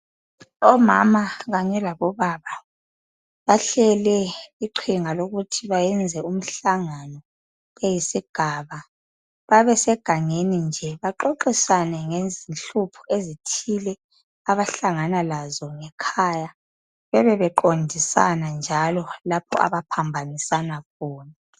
Omama kanye labobaba bahlele iqhinga lokuthi bayenze umhlangano beyisigaba babe segangeni bahlangane baxoxisane ngenhlupho ezithile abahlangana lazo ngekhaya, bebe beqondisana njalo lapho abaphambanisana khona.